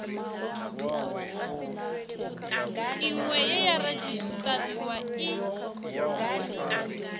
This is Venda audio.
iṅwe ye ya redzisiṱariwa i